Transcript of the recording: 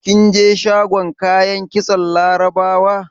Kin je shagon kayan kitson Laraba?